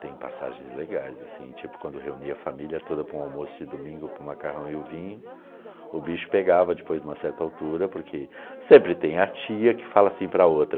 Tem passagens legais assim, tipo quando reunia a família toda para um almoço de domingo, para o macarrão e o vinho, o bicho pegava depois de uma certa altura, porque sempre tem a tia que fala assim para a outra...